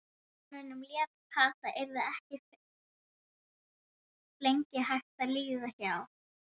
Vinkonunum létti, Kata yrði ekki flengd, hættan var liðin hjá.